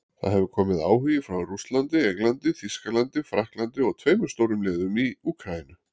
Það hefur komið áhugi frá Rússlandi, Englandi, Þýskalandi Frakklandi og tveimur stórum liðum í Úkraínu.